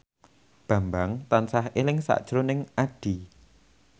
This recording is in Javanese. Bambang tansah eling sakjroning Addie